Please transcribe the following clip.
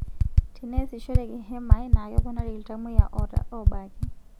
Teneesishoreki hemai naa keponari ltamoyia oobaki